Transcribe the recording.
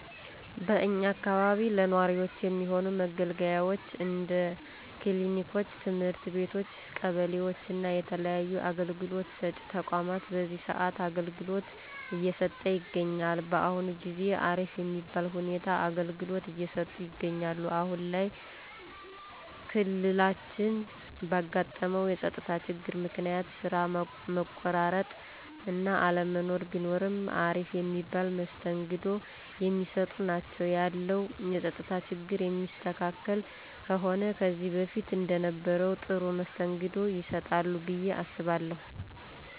በእኛ አካባቢ ለነዋሪወች የሚሆኑ መገልገያወች እንደ ክሊኒኮች፣ ትምህርት ቤቶች ቀበሌወች እና የተለያዩ አገልግሎት ሰጪ ተቋማት በዚህ ሰአት አገልግሎት እየሰጠ ይገኛል። በአሁን ጊዜ አሪፍ የሚባል ሁኔታ አገልግሎት እየሰጡ ይገኛሉ። አሁን ላይ ክልላችን ባጋጠመው የፀጥታ ችግር ምክንያት ስራ መቆራረጥ እና አለመኖር ቢኖርም አሪፍ የሚባል መስተንግዶ የሚሰጡ ናቸው። ያለው የፀጥታ ችግር የሚስተካከል ከሆነ ከዚህ በፊት እንደነበረው ጥሩ መስተንግዶ ይሰጣሉ ብየ አስባለሁ።